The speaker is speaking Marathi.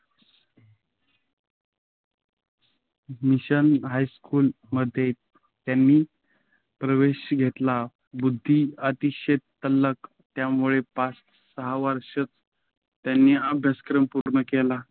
मिशन हायस्कूलमध्ये त्यांनी प्रवेश घेतला. बुद्धी अतिशय तल्लख, त्यामुळे पाच-सहा वर्षातच त्यांनी अभ्यासक्रम पूर्ण केला.